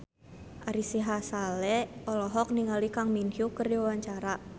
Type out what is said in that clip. Ari Sihasale olohok ningali Kang Min Hyuk keur diwawancara